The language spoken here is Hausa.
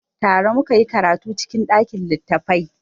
Tare mu ka yi karatu cikin ɗakin littattafai.